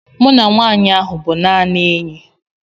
Mụ na nwanyị ahụ bụ naanị enyi